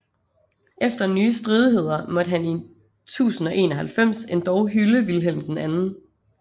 Efter nye stridigheder måtte han i 1091 endog hylde Vilhelm 2